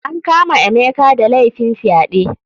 An kama emeka da laifin fyaɗe.